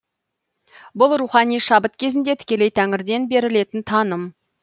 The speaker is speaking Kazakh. бұл рухани шабыт кезінде тікелей тәңірден берілетін таным